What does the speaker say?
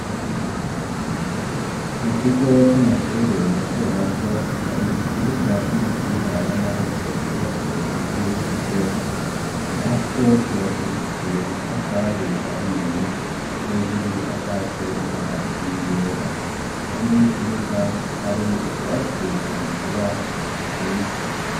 Mu kigo c'amashure matomato hari ikibuga c'umupira w'amaboko cubatse impande y'ikigo, naho co cubakishije amatafari ahiye hejuru gisakaje amabati yera impande y'ikibuga hari utwatsi tugikura a twiza.